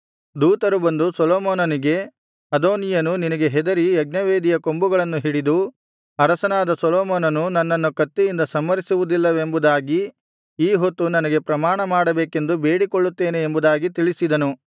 ದೂತರು ಬಂದು ಸೊಲೊಮೋನನಿಗೆ ಅದೋನೀಯನು ನಿನಗೆ ಹೆದರಿ ಯಜ್ಞವೇದಿಯ ಕೊಂಬುಗಳನ್ನು ಹಿಡಿದು ಅರಸನಾದ ಸೊಲೊಮೋನನು ನನ್ನನ್ನು ಕತ್ತಿಯಿಂದ ಸಂಹರಿಸುವುದಿಲ್ಲವೆಂಬುದಾಗಿ ಈ ಹೊತ್ತು ನನಗೆ ಪ್ರಮಾಣಮಾಡಬೇಕೆಂದು ಬೇಡಿಕೊಳ್ಳುತ್ತೇನೆ ಎಂಬುದಾಗಿ ತಿಳಿಸಿದನು